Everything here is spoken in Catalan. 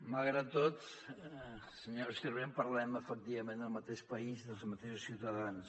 malgrat tot senyora sirvent parlem efectivament del mateix país dels mateixos ciutadans